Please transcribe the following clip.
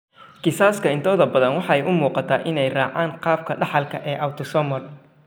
Kiisaska intooda badani waxay u muuqdaan inay raacaan qaabka dhaxalka ee autosomal.